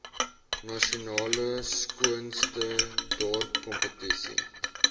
nasionale skoonste dorpkompetisie